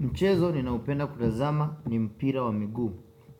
Mchezo ninaupenda kutazama ni mpira wa miguu.